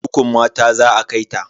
Kurkukun mata za a kai ta.